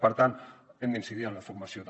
per tant hem d’incidir en la formació també